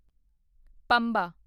Pamba